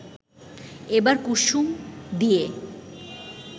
এবার কুসুম দিয়ে